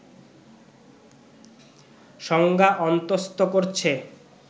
সংজ্ঞা অন্তঃস্থ করছে